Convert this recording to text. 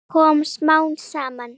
Það kom smám saman.